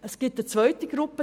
Es gibt eine zweite Gruppe.